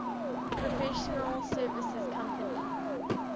professional services company